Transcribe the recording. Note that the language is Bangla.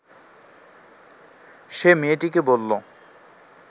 সে মেয়েটিকে বলল